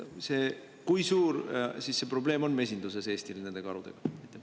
Kui suur see probleem karudega Eesti mesinduses on?